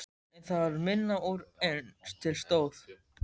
En það varð minna úr en til stóð.